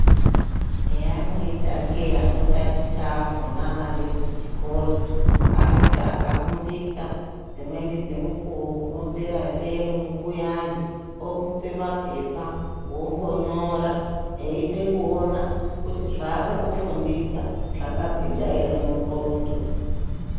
Zveanoita kei anotaticha akhona ariyo kuchikora. Anoti akafundisa dzimweni dzemukuwo kunopera themu kuyani omupe maphepa mombonyora eide kuona kuti zvaakakufundisa zvakapinda ere mundxondo.